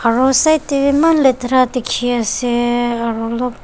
aro side tey eman letara dikhi ase aro olop--